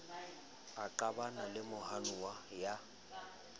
a qabana le mohanuwa ya